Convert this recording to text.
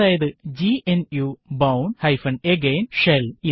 അതായത് GNU bourne again shell